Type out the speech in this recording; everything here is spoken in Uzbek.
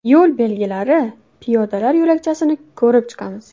Yo‘l belgilari, piyodalar yo‘lakchasini ko‘rib chiqamiz.